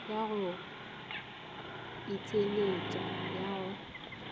ya go itheeletša ya go